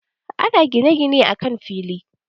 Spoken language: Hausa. Ana gine-gine akan fili.